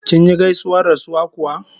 Kinyi gaisuwar rasuwa kuwa?